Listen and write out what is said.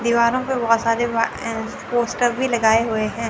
दीवारों पे बहुत सारे वा एं पोस्टर भी लगाए हुए हैं।